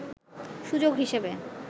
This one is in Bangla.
সুযোগ হিসেবে